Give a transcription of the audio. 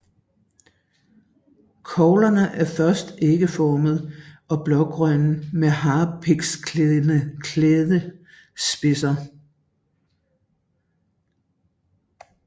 Koglerne er først ægformede og blågrønne med harpiksklædte spidser